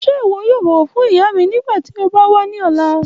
Ṣe iwọ yoo bọwọ fun iya mi nigbati o ba wa ni ọla?